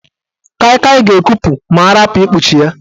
Kai Kai ga-ekupu ma arapu ikpuchi ya.